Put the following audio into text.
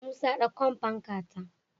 Musa dankon fanka ta